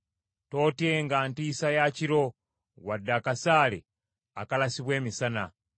Tootyenga ntiisa ya kiro, wadde akasaale akalasibwa emisana;